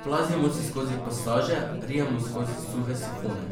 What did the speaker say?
Plazimo se skozi pasaže, rijemo skozi suhe sifone.